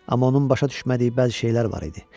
Amma onun başa düşmədiyi bəzi şeylər var idi.